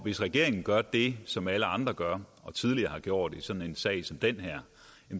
hvis regeringen gør det som alle andre gør og tidligere har gjort i sådan en sag som den her